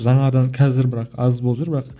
жаңадан қазір бірақ аз болып жүр бірақ